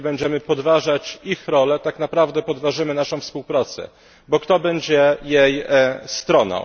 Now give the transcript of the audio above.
Jeżeli będziemy podważać ich rolę, tak na prawdę podważymy naszą współpracę. Bo kto będzie jej stroną?